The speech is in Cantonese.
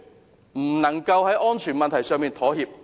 絕不能在安全問題上妥協。